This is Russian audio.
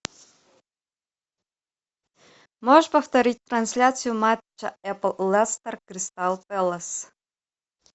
можешь повторить трансляцию матча эпл лестер кристал пэлас